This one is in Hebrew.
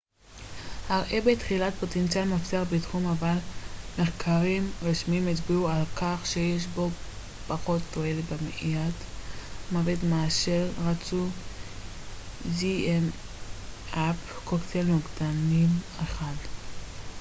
קוקטייל נוגדנים אחד zmapp הראה בתחילה פוטנציאל מבטיח בתחום אבל מחקרים רשמיים הצביעו על כך שיש בו פחות תועלת במניעת מוות מאשר רצו